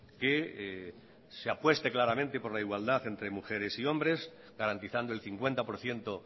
que se apueste claramente por la igualdad entre mujeres y hombres garantizando el cincuenta por ciento